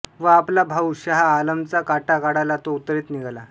व आपला भाऊ शहा आलमचा काटा काढायला तो उत्तरेत निघाला